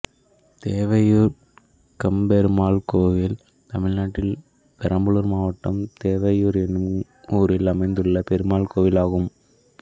தேவையூர் கம்பபெருமாள் கோயில் தமிழ்நாட்டில் பெரம்பலூர் மாவட்டம் தேவையூர் என்னும் ஊரில் அமைந்துள்ள பெருமாள் கோயிலாகும்